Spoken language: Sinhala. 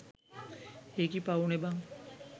ඒකි පවුනේ බන්